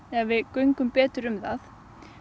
ef við göngum betur um það